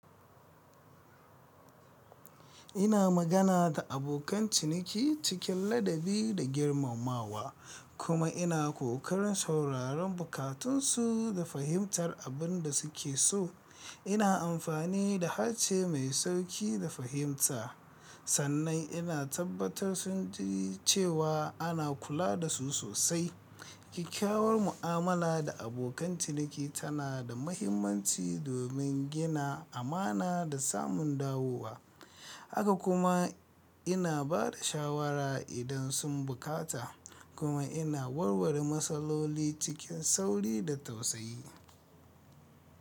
Ina magana da abokan ciniki cikin ladabi da girmamawa, kuma ina kokarin sauraron bukatunsu da fahimtar abin da suke so. Ina amfani da harshe mai sauƙi da fahimta, sannan ina tabbatar sun ji cewa ana kula da su sosai. Kyakkyawar mu'amala da abokan ciniki tana da mahimmanci domin gina amana da samun dawowa. Haka kuma ina ba da shawara idan sun bukata kuma ina warware matsaloli cikin sauri da tausayi.